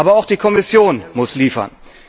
Aber auch die Kommission muss liefern.